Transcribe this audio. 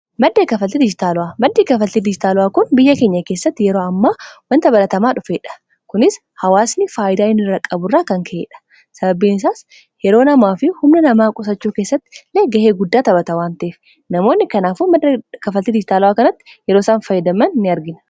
Maddi kafaltii dijitaalawaa kun biyya keenya keessatti yeroo ammaa wanta baratamaa dhufeedha. Kunis hawaasni faayidaa inni irraa qaburraa kan ka'edha. Sababbiin isaas yeroo namaa fi humna namaa qusachuu keessatti ga'ee guddaa taphata wanteef namoonni kanaafu madda kafaltii dijitaalawaa kanatti yeroo isan faayidaman in argina.